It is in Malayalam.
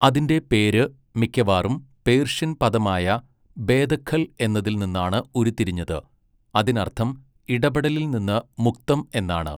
അതിന്റെ പേര് മിക്കവാറും പേർഷ്യൻ പദമായ ബേദഖൽ എന്നതിൽ നിന്നാണ് ഉരുത്തിരിഞ്ഞത്, അതിനർത്ഥം ഇടപെടലിൽ നിന്ന് മുക്തം എന്നാണ്.